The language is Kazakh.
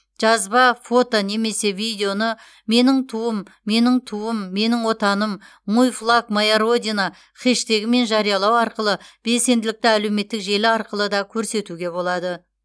жазба фото немесе видеоны меніңтуым меніңтуымменіңотаным мойфлагмояродина хештегімен жариялау арқылы белсенділікті әлеуметтік желі арқылы да көрсетуге болады